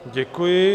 Děkuji.